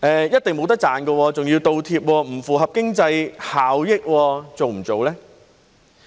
一定是沒錢賺的，還要"倒貼"，不符合經濟效益，做不做呢？